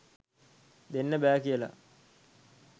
දෙන්න බෑ කියල